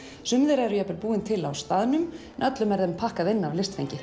sum þeirra eru jafnvel búin til á staðnum en öllum er þeim pakkað inn af listfengi